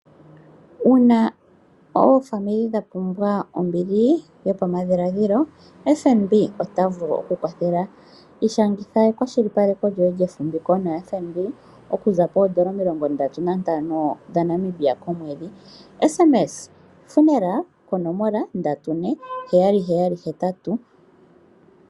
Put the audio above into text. Yuma oofamili dha pumbwa ombili yopamadhiladhilo FNB ota vulu oku ku kwathela. Ishangitha ekwashili paleko lyoye lyefumbiko na FNB okuza poondola omilongo ndatu nantano dha Namibia komwedhi, shanga oka tumwalaka okahupi, “funeral” konoloma 34778.